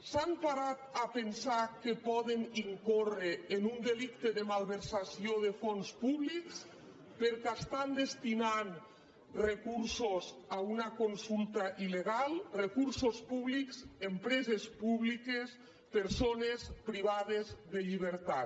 s’han parat a pensar que poden incórrer en un delicte de malversació de fons públics perquè estan destinant recursos a una consulta il·legal recursos públics empreses públiques persones privades de llibertat